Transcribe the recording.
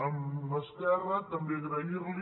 a esquerra també agrair·li